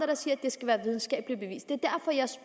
der siger at det skal være videnskabeligt bevist det